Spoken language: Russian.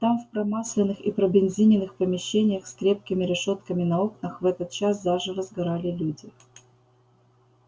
там в промасленных и пробензиненных помещениях с крепкими решётками на окнах в этот час заживо сгорали люди